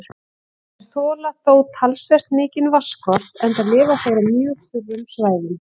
Þeir þola þó talsvert mikinn vatnsskort enda lifa þeir á mjög þurrum svæðum.